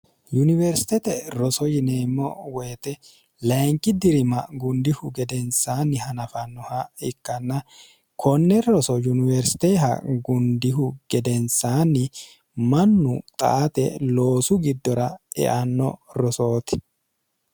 yuniwersitete roso yineemmo woyite lainqi dirima gundihu gedensaanni hanafannoha ikkanna konne roso yuniwersiteha gundihu gedensaanni mannu xaate loosu giddora eanno rosooti